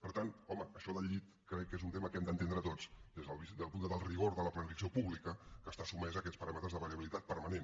per tant home això del llit crec que és un tema que hem d’entendre tots des del rigor de la planificació pública que està sotmesa a aquests paràmetres de variabilitat permanent